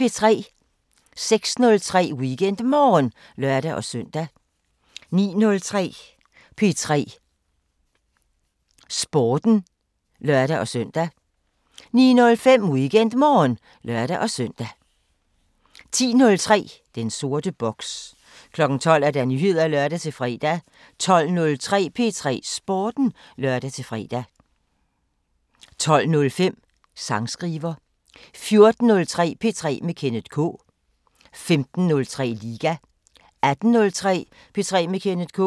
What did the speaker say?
06:03: WeekendMorgen (lør-søn) 09:03: P3 Sporten (lør-søn) 09:05: WeekendMorgen (lør-søn) 10:03: Den sorte boks 12:00: Nyheder (lør-fre) 12:03: P3 Sporten (lør-fre) 12:05: Sangskriver 14:03: P3 med Kenneth K 15:03: Liga 18:03: P3 med Kenneth K